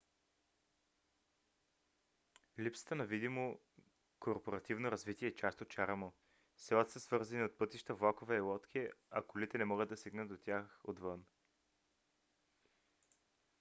липсата на видимо корпоративно развитие е част от чара му. селата са свързани от пътища влакове и лодки а колите не могат да стигнат до тях отвън